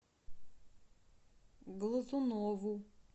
глазунову